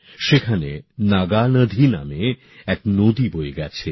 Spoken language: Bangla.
সেখানে নাগানধী নামে এক নদী বয়ে গেছে